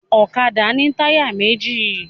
Ọ̀kadà ni táyà méjì